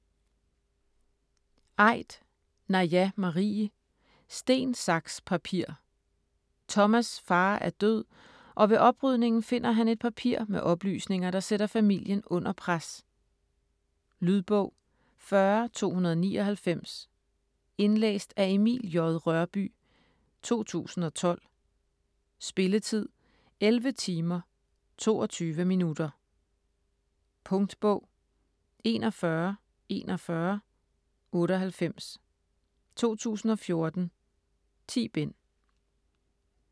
Aidt, Naja Marie: Sten, saks, papir Thomas' far er død og ved oprydningen finder han et papir med oplysninger, der sætter familien under pres. Lydbog 40299 Indlæst af Emil J. Rørbye, 2012. Spilletid: 11 timer, 22 minutter. Punktbog 414198 2014. 10 bind.